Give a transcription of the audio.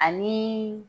Ani